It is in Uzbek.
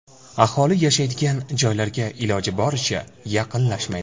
Aholi yashaydigan joylarga iloji boricha yaqinlashmaydi.